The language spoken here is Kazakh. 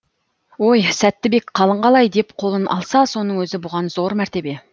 ой сәтбек қалың қалай деп қолын алса соның өзі бұған зор мәртебе